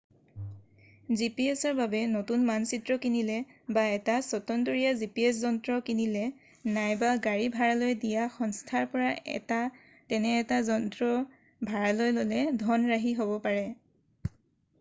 gps-ৰ বাবে নতুন মানচিত্ৰ কিনিলে বা এটা স্বতন্তৰীয়া gps যন্ত্ৰ কিনিলে নাইবা গাড়ী ভাড়ালৈ দিয়া সংস্থাৰ পৰা তেনে এটা যন্ত্ৰ ভাড়ালৈ ল’লে ধন ৰাহি হ’ব পাৰে।